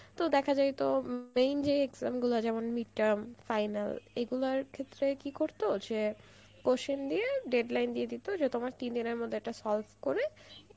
তো দেখা যাইত main যে exam গুলো যেমন midterm final এগুলোর ক্ষেত্রে কি করত যে question দিয়ে deadline দিয়ে দিত যে তোমার তিন দিনের মধ্যে এটা solve করে